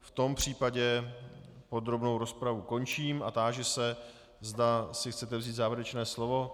V tom případě podrobnou rozpravu končím a táži se, zda si chcete vzít závěrečné slovo.